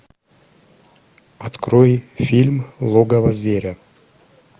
открой фильм логово зверя